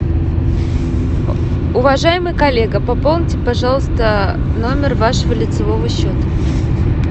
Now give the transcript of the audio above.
уважаемый коллега пополните пожалуйста номер вашего лицевого счета